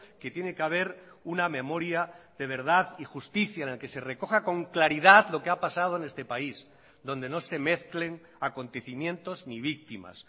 que tiene que haber una memoria de verdad y justicia en el que se recoja con claridad lo que ha pasado en este país donde no se mezclen acontecimientos ni víctimas